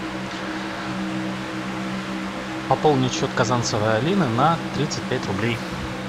пополнить счет казанцевой алины на тридцать пять рублей